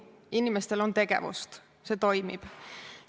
Inimestel on tegevust, see toimib.